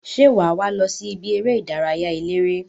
Se waa wo losi ibi ere idaraya elere?